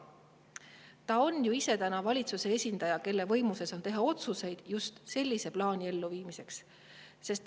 Ta on ju ise praegu valitsuse esindaja, kelle võimuses on teha otsuseid just sellise plaani elluviimiseks.